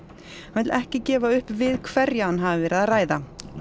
hann vill ekki gefa upp við hverja hann hafi verið að ræða